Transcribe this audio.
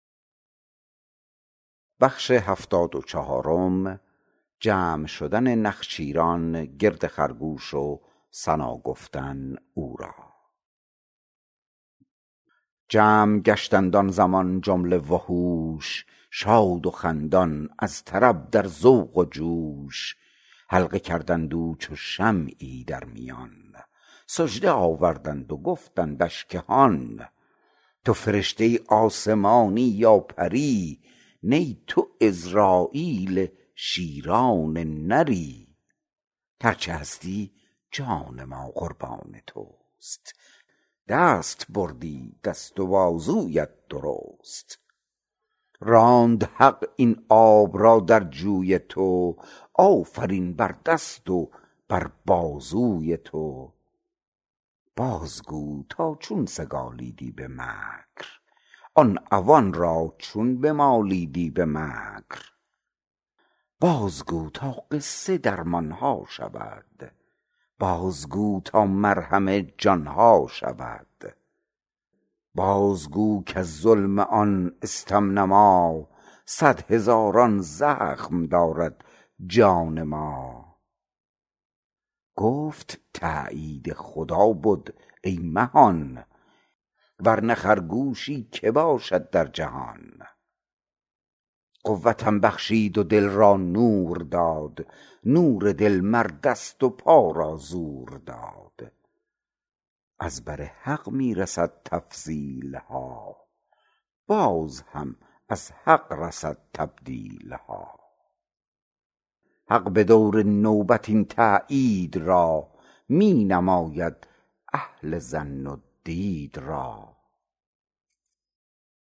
جمع گشتند آن زمان جمله وحوش شاد و خندان از طرب در ذوق و جوش حلقه کردند او چو شمعی در میان سجده آوردند و گفتندش که هان تو فرشته آسمانی یا پری نی تو عزراییل شیران نری هرچه هستی جان ما قربان تست دست بردی دست و بازویت درست راند حق این آب را در جوی تو آفرین بر دست و بر بازوی تو باز گو تا چون سگالیدی به مکر آن عوان را چون بمالیدی به مکر بازگو تا قصه درمانها شود بازگو تا مرهم جانها شود بازگو کز ظلم آن استم نما صد هزاران زخم دارد جان ما گفت تایید خدا بد ای مهان ورنه خرگوشی که باشد در جهان قوتم بخشید و دل را نور داد نور دل مر دست و پا را زور داد از بر حق می رسد تفضیلها باز هم از حق رسد تبدیلها حق بدور نوبت این تایید را می نماید اهل ظن و دید را